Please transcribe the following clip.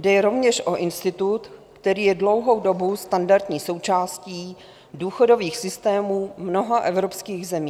Jde rovněž o institut, který je dlouhou dobu standardní součástí důchodových systémů mnoha evropských zemí.